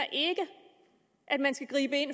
at man skal gribe ind